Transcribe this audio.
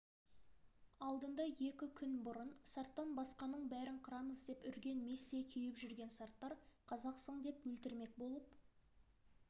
алдында екі күн бұрын сарттан басқаның бәрін қырамыз деп үрген местей кеуіп жүрген сарттар қазақсың деп өлтірмек болып